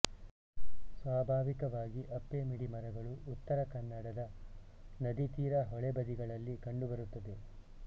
ಸ್ವಾಭಾವಿಕವಾಗಿ ಅಪ್ಪೆಮಿಡಿ ಮರಗಳು ಉತ್ತರ ಕನ್ನಡದ ನದಿತೀರ ಹೊಳೆಬದಿಗಳಲ್ಲಿ ಕಂಡುಬರುತ್ತದೆ